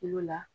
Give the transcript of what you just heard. Il'o la